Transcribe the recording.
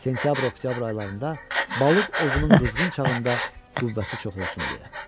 Sentyabr-oktyabr aylarında balıq ovunun qızğın çağında qüvvəsi çox olsun deyə.